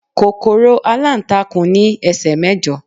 kòkòrò alantakun ni ẹsẹ mẹjọ